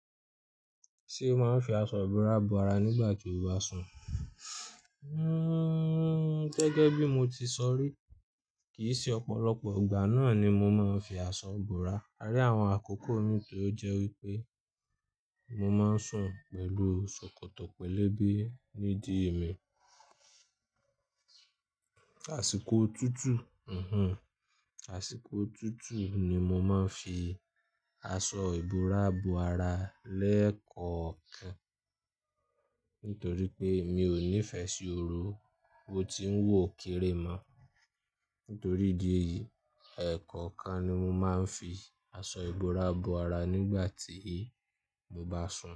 Ṣé o máa ń fi aṣọ ìbora bo ara nígbà tí o bá sùn? Hmm gẹ́gẹ́ bí mo ti sọ rí, kì í sí ọ̀pọ̀lọpọ̀ ìgbà náà ni mo máa ń fi aṣọ bora a rí àwọn àkókò mi torí jẹ́ wípé mo máa ń sùn pẹ̀lú ṣòkòtò pelebe nídìí mi. Àsìkò tútù, mhm, àsìkò tútù ni mo máa ń fi aṣọ ìbora bo ara lẹ́ẹ̀kọ̀kan. Nítorí pé mi ò nífẹ̀ẹ́ sí ooru, mo ti ń wò ó kéré mọ́. Nítorí ìdí èyí, ẹ̀ẹ̀kọ̀kan ni mo máa ń fi aṣọ ìbora bo ara nígbà tí mo bá sùn.